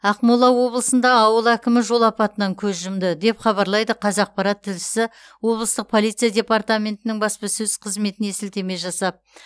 ақмола облысында ауыл әкімі жол апатынан көз жұмды деп хабарлайды қазақпарат тілшісі облыстық полиция департаментінің баспасөз қызметіне сілтеме жасап